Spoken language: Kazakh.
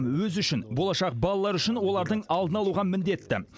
өзі үшін болашақ балалары үшін олардың алдын алуға міндетті